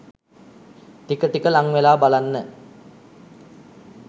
ටික ටික ලංවෙලා බලන්න.